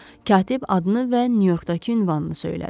Katib adını və Nyu-Yorkdakı ünvanını söylədi.